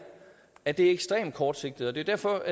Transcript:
at det er ekstremt kortsigtet og det er derfor